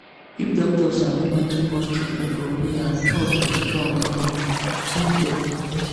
if doctor sabi when to pause treatment for prayer trust go strong between dem and patient.